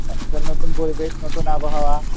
নতুন নতুন পরিবেশ নতুন আবহাওয়া,